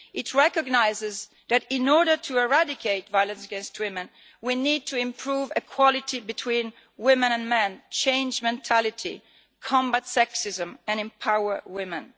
It recognises that, in order to eradicate violence against women, we need to improve equality between women and men, change mentality, combat sexism, and empower women.